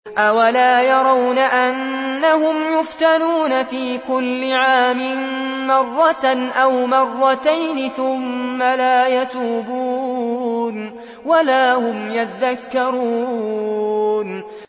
أَوَلَا يَرَوْنَ أَنَّهُمْ يُفْتَنُونَ فِي كُلِّ عَامٍ مَّرَّةً أَوْ مَرَّتَيْنِ ثُمَّ لَا يَتُوبُونَ وَلَا هُمْ يَذَّكَّرُونَ